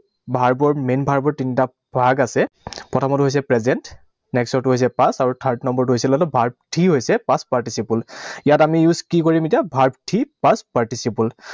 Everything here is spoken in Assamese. Verb ৰ main verb ৰ তিনিটা ভাগ আছে। প্ৰথমৰটো হৈছে present, next ৰটো হৈছে past আৰু third number টো হৈছিলে এইটো verb three হৈছে past participle । ইয়াত আমি use কি কৰিম এতিয়া? Verb three, past participle